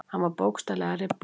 Hann var bókstaflega að rifna.